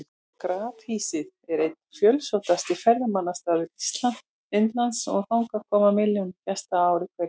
Grafhýsið er einn fjölsóttasti ferðamannastaður Indlands og þangað koma milljónir gesta á ári hverju.